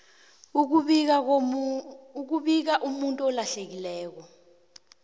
ukubika umuntu olahlekileko